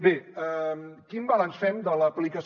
bé quin balanç fem de l’aplicació